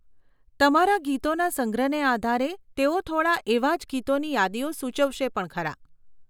તમારા ગીતોના સંગ્રહને આધારે તેઓ થોડાં એવાં જ ગીતોની યાદીઓ સૂચવશે પણ ખરા.